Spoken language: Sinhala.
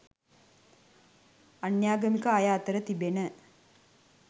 අන්‍යාගමික අය අතර තිබෙන